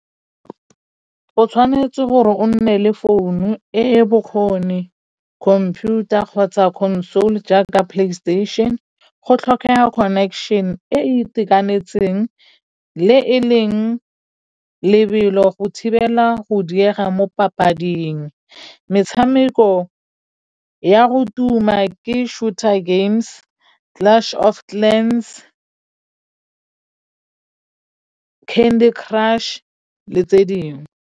O tshwanetse gore o nne le founu e e bokgoni computer kgotsa console jaaka playstation go tlhokega connection e e itekanetseng le e leng lebelo go thibela go diega mo papading metshameko ya go tuma ke shooter games, clash of clans, candy crush le tse dingwe.